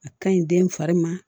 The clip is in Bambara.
A kaɲi den fari ma